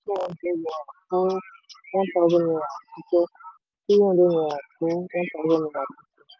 two hundred naira fún one thousand naira àtijọ́; three hundred naira fún one thousand naira tuntun.